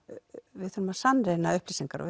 við þurfum að sannreyna upplýsingar og